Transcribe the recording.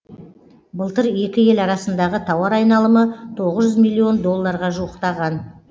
былтыр екі ел арасындағы тауар айналымы тоғыз жүз миллион долларға жуықтаған